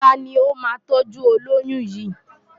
Ta ni ó máa tọ́jú olóyún yìí?